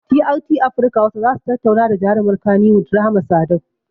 TRT afirka hausa zasu tattauna da jarumar kaniwud rahama sadau